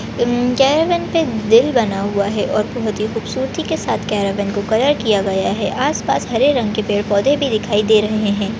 Enjoyment का दिन बना हुआ है और बहुत ही खूबसूरती के साथ कैरेबियन को कलर किया गया है आसपास हरे रंग के पेड़ पौधे भी दिखाई दे रहे है।